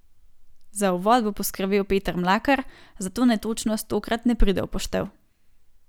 Za uvod bo poskrbel Peter Mlakar, zato netočnost tokrat ne pride v poštev.